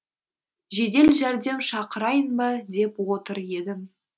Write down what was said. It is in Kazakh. жедел жәрдем шақырайын ба деп отыр едім